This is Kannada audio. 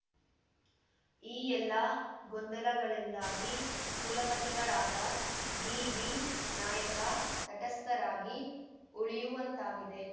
ಈ ಎಲ್ಲ ಗೊಂದಲಗಳಿಂದಾಗಿ ಕುಲಪತಿಗಳಾದ ಡಿಬಿನಾಯಕ ತಟಸ್ಥರಾಗಿ ಉಳಿಯುವಂತಾಗಿದೆ